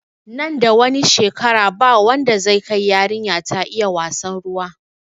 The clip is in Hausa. Nan da wani shekara ba wanda zai kai yarinya ta iya wassan ruwa